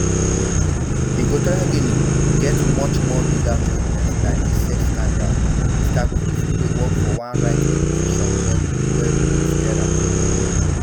equatorial guinea get much um bigger problems dan dis sex scandal mr cruz who dey work for one rights organisation called ge nuestra tok